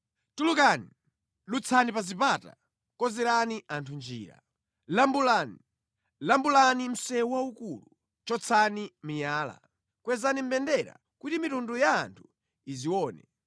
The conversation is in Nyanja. Tulukani, dutsani pa zipata! Konzerani anthu njira. Lambulani, lambulani msewu waukulu! Chotsani miyala. Kwezani mbendera kuti mitundu ya anthu izione.